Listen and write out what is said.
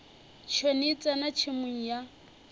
tšhwene e tsena tšhemong ya